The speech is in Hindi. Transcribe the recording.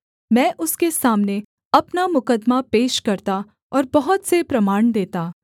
मैं उसके सामने अपना मुकद्दमा पेश करता और बहुत से प्रमाण देता